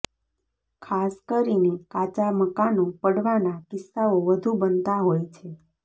ખાસ કરીને કાચા મકાનો પડવાના કિસ્સાઓ વધુ બનતા હોય છે